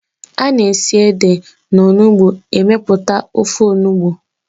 Ana esi na ede na onugbu emeputa ofe onugbu